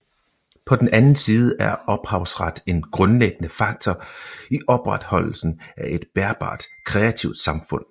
På den anden side er ophavsret en grundlæggende faktor i opretholdelsen af et bærbart kreativt samfund